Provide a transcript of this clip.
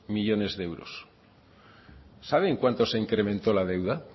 millónes de euros saben cuánto se ha incrementado la deuda